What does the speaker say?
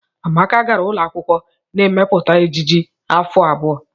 Amaka gara ụlọ akwụkwọ na-emepụta ejiji afọ abụọ.